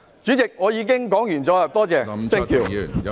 主席，我發言完畢，多謝。